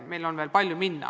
Meil on veel palju minna.